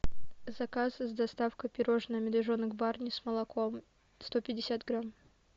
заказ с доставкой пирожное медвежонок барни с молоком сто пятьдесят грамм